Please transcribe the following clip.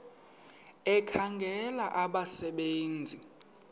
ekhangela abasebe nzi